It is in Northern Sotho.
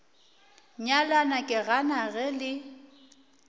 nyalana ke gana ge le